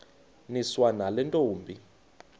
niswa nale ntombi